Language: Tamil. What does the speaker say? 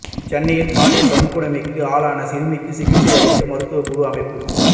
சென்னையில் பாலியல் வன்கொடுமைக்கு ஆளான சிறுமிக்கு சிகிச்சை அளிக்க மருத்துவக்குழு அமைப்பு